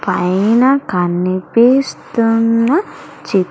పైన కనిపిస్తున్న చి--